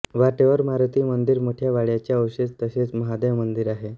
वाटेवर मारुती मंदिर मोठ्या वाड्याचे अवशेष तसेच महादेव मंदिर आहे